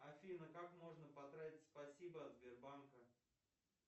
афина как можно потратить спасибо от сбербанка